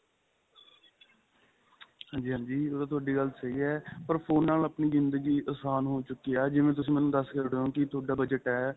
ਹਾਂਜੀ ਹਾਂਜੀ ਉਹ ਤਾਂ ਤੁਹਾਡੀ ਗੱਲ ਸਹੀ ਏ ਪਰ phone ਨਾਲ ਆਪਣੀ ਜਿੰਦਗੀ ਆਸਾਨ ਹੋ ਚੁਕੀ ਏ ਜਿਵੇਂ ਤੁਸੀਂ ਮੈਨੂੰ ਦਸ ਕੇ ਹਟੇ ਓ ਕੀ ਤੁਹਾਡਾ budget ਹੈ